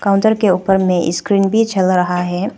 Counter के ऊपर में स्क्रीन पर चल रहा है।